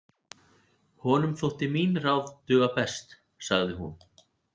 Honum þóttu mín ráð duga best, sagði hún.